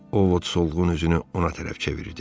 Ovod solğun üzünü ona tərəf çevirdi.